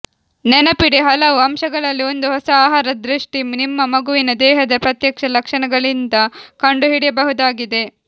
ನೆನಪಿಡಿ ಹಲವು ಅಂಶಗಳಲ್ಲಿ ಒಂದು ಹೊಸ ಆಹಾರ ದೃಷ್ಟಿ ನಿಮ್ಮ ಮಗುವಿನ ದೇಹದ ಪ್ರತ್ಯೇಕ ಲಕ್ಷಣಗಳಿಂದ ಕಂಡುಹಿಡಿಯಬಹುದಾಗಿದೆ